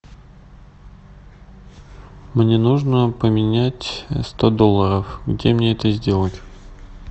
мне нужно поменять сто долларов где мне это сделать